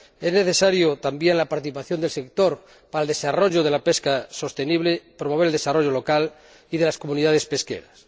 Son necesarias también la participación del sector en el desarrollo de la pesca sostenible y la promoción del desarrollo local y de las comunidades pesqueras.